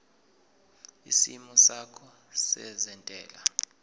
isimo sakho sezentela